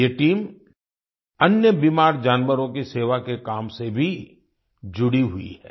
ये टीम अन्य बीमार जानवरों की सेवा के काम से भी जुड़ी हुई है